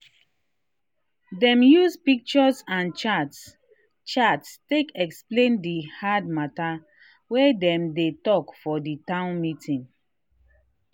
dem use pictures and charts charts take explain the hard matter wa dem dey talk for the town meeting.